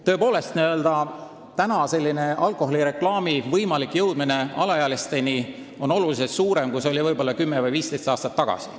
Tõepoolest, võimalus, et alaealised alkoholireklaami näevad või kuulevad, on oluliselt suurem, kui see oli võib-olla 10 või 15 aastat tagasi.